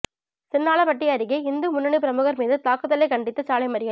சின்னாளபட்டி அருகே இந்து முன்னணி பிரமுகா் மீது தாக்குதலைக் கண்டித்து சாலை மறியல்